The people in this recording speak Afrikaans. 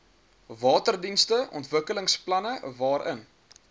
waterdienste ontwikkelingsplanne waarin